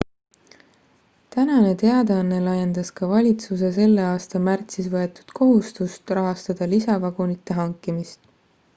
tänane teadaanne laiendas ka valitsuse selle aasta märtsis võetud kohustust rahastada lisavagunite hankimist